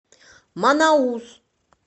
манаус